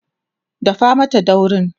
dafa Mata daurin!